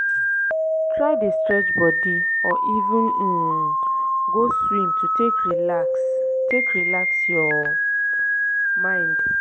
try dey stretch bodi or even um go swim to take relax take relax yur mind